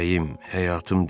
Ürəyim, həyatım demədim.